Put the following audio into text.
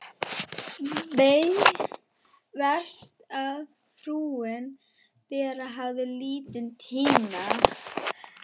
Verst hvað frúin Bera hafði lítinn tíma aflögu.